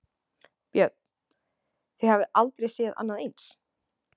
Björn: Þið hafið aldrei séð annað eins?